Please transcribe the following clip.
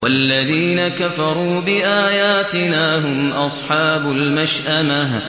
وَالَّذِينَ كَفَرُوا بِآيَاتِنَا هُمْ أَصْحَابُ الْمَشْأَمَةِ